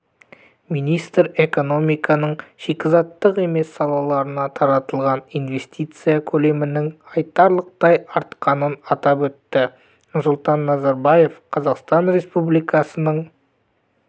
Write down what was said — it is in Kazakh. министр экономиканың шикізаттық емес салаларына тартылған инвестиция көлемінің айтарлықтай артқанын атап өтті нұрсұлтан назарбаев қазақстан республикасының